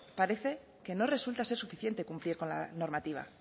parece que no resulta ser suficiente cumplir con la normativa